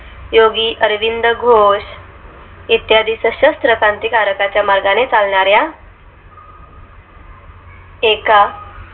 योगी अरविंद घोष इत्यादी सशस्त्र क्रांतीकारकांच्या मार्गाने चालणार् या एका